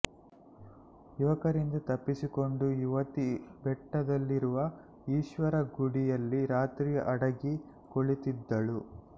ಯುವಕರಿಂದ ತಪ್ಪಿಸಿಕೊಂಡ ಯುವತಿ ಬೆಟ್ಟದಲ್ಲಿರುವ ಈಶ್ವರನ ಗುಡಿಯಲ್ಲಿ ರಾತ್ರಿ ಅಡಗಿ ಕುಳಿತಿದ್ದಳು